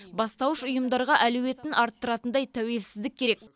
бастауыш ұйымдарға әлеуетін арттыратындай тәуелсіздік керек